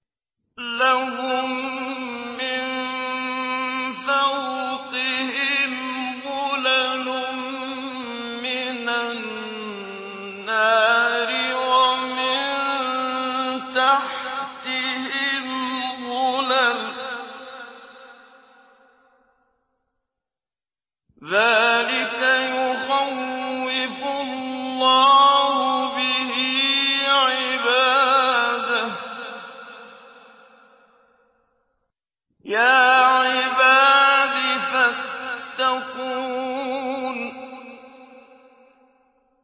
لَهُم مِّن فَوْقِهِمْ ظُلَلٌ مِّنَ النَّارِ وَمِن تَحْتِهِمْ ظُلَلٌ ۚ ذَٰلِكَ يُخَوِّفُ اللَّهُ بِهِ عِبَادَهُ ۚ يَا عِبَادِ فَاتَّقُونِ